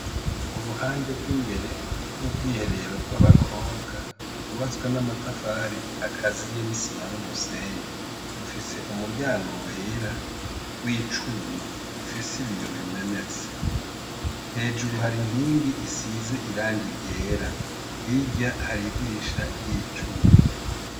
Uruhande rw'imbere w'ubwiherero bw'abakobwa kubatswa n'amatafari akaziye nisima n'umusenyi rufise umuryango wera w'icuma ufise ibiyobo bimenetse hejuru hari inkingi isize irang iryera hirya haridirisha ryico cuma.